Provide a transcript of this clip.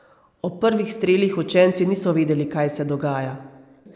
Ob prvih strelih učenci niso vedeli, kaj se dogaja.